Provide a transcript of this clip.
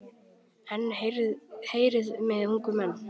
En heyrið mig ungu menn.